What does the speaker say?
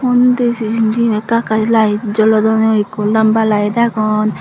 uni pejedi eka eka light jolodone eko lamba light agon.